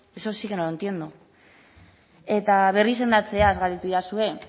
eso sí que no lo entiendo eta berrizendatzeaz galdetu didazue bada